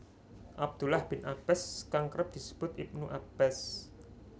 Abdullah bin Abbas kang kerep disebut Ibnu Abbas